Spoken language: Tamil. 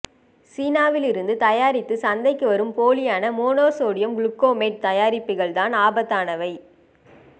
சீனாவில் இருந்து தயாரித்து சந்தைக்கு வரும் போலியான மோனோ சோடியம் குளூக்கோமேட் தயாரிப்புகள் தான் ஆபத்தானவை